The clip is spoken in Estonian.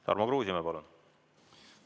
Tarmo Kruusimäe, palun!